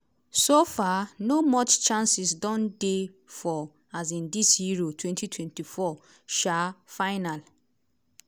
so far no much chances don dey for um dis euro 2024 um final.